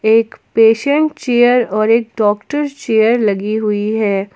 एक patient chair और एक डॉक्टर चेयर लगी हुई है।